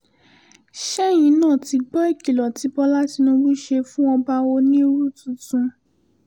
ṣẹ́yìn náà ti gbọ́ ìkìlò tí bọ́là tìbùbù ṣe fún ọba onírú tuntun